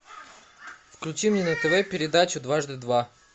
включи мне на тв передачу дважды два